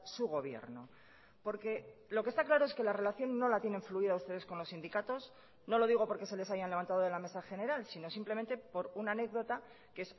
su gobierno porque lo que está claro es que la relación no la tienen fluida ustedes con los sindicatos no lo digo porque se les hayan levantado de la mesa general sino simplemente por una anécdota que